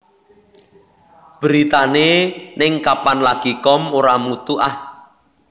Beritane ning kapanlagi com ora mutu ah